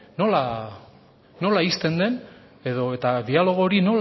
nola ixten den edo eta dialogo hori